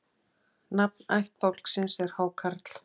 Nafn ættbálksins er Hákarl.